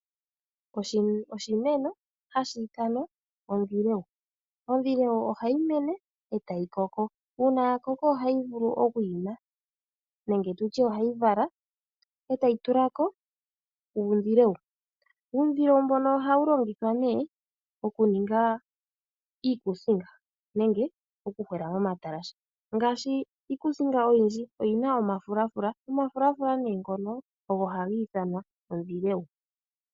Oshimeno hashi ithanwa ondhilewu. Ondhilewu ohayi mene e tayi koko. Uuna ya koko ohayi vulu oku tula ko uundhileu. Uundhilewu mbono ohawu longithwa okuninga iikuusinga nenge okuhwela momatalashe. Ngaashi iikuusinga oyindji oyi na omafulafula, omafulafula ngono ogo haga ithanwa ondhilewu.